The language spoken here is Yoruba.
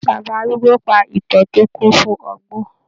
Bàbá arúgbó pa ìtàn tó kún fún ọgbọ́n.